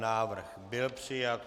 Návrh byl přijat.